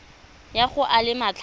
ya go a le matlhano